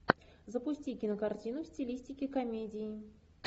запусти кинокартину в стилистике комедии